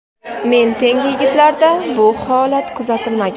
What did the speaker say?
Men tengi yigitlarda esa bu holat kuzatilmagan.